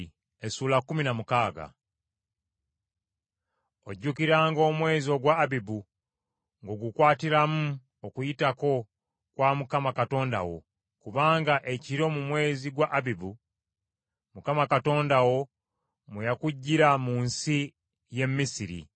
Ojjukiranga omwezi ogwa Abibu ng’ogukwatiramu Okuyitako kwa Mukama Katonda wo, kubanga ekiro mu mwezi gwa Abibu, Mukama Katonda wo mwe yakuggyira mu nsi y’e Misiri.